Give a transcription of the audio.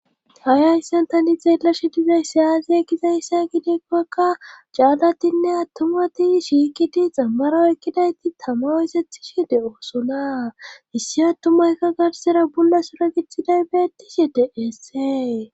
Hay hayssan tani xeellashi dizay aaze gizayssa gidikkoka caallatinne attumati shiikidi xammaro ekkidayti tama osethishi de7oosona issi attumaykka garsera bolla sura gixxiday beetishi de7esee.